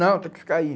Não, tem que ficar aí.